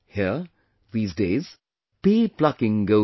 Here, these days, pea plucking goes on